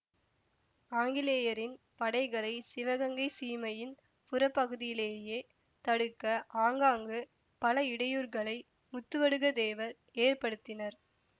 ஆங்கிலேயரின் படைகளை சிவகங்கைச் சீமையின் புறப்பகுதியிலேயே தடுக்க ஆங்காங்கு பல இடையூர்களை முத்துவடுக தேவர் ஏற்படுத்தினர்